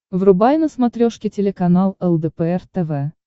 врубай на смотрешке телеканал лдпр тв